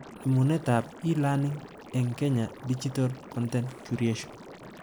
Nemunetab e-learning eng Kenya Digital Content Curation